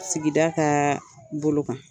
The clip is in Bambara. Sigida ka bolo kan.